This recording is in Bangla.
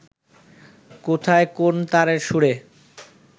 কোথায় কোন তারের সুরে